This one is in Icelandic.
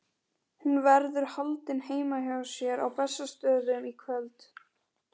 Hún verður haldin heima hjá mér á Bessastöðum í kvöld.